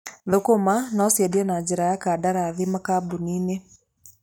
Thũkũma no ciendio na njĩra ya kandarathi makambuni-inĩ.